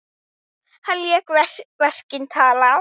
Hann lét verkin tala.